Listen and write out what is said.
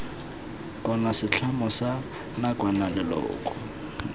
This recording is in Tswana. kgotsa setlamo sa nakwana leloko